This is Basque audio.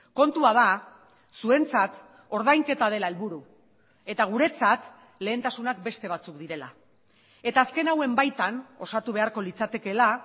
kontua da zuentzat ordainketa dela helburu eta guretzat lehentasunak beste batzuk direla eta azken hauen baitan osatu beharko litzatekeela